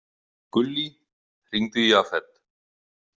Gullý, hringdu í Jafet.